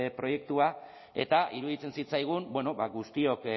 proiektua eta iruditzen zitzaigun guztiok